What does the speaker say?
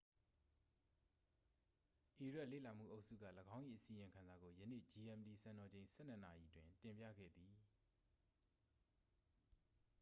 အီရတ်လေ့လာမှုအုပ်စုက ၎င်း၏ အစီရင်ခံစာကို ယနေ့ gmt စံတော်ချိန် 12.00 နာရီတွင် တင်ပြခဲ့သည်